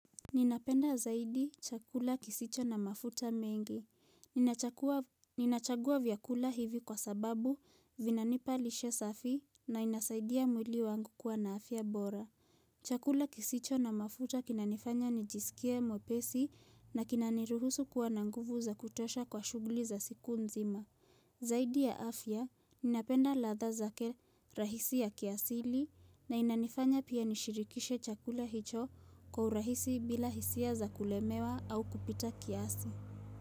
Ninapenda zaidi chakula kisicho na mafuta mengi. Ninachagua vyakula hivi kwa sababu vinanipa lishe safi na inasaidia mwili wangu kuwa na afya bora. Chakula kisicho na mafuta kinanifanya nijisikie mwepesi na kinaniruhusu kuwa na nguvu za kutosha kwa shughuli za siku nzima. Zaidi ya afya, ninapenda ladha zake rahisi ya kiasili na inanifanya pia nishirikishe chakula hicho kwa urahisi bila hisia za kulemewa au kupita kiasi.